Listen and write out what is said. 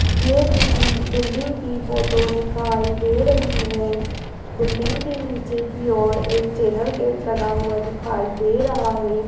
ये किसी बिल्डिंग की फोटो दिखाई दे रही है बिल्डिंग के नीचे की ओर एक चैनल गेट लगा हुआ दिखाई दे रहा है।